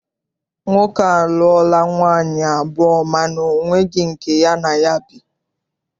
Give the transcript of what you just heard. Nwoke a a lụọla nwaanyị abụọ mana ọ nweghị nke ya na ya bi.